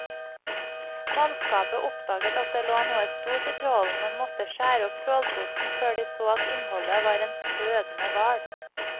Mannskapet oppdaget at det lå noe stort i trålen, men måtte skjære opp trålposen før de så at innholdet var en fødende hval.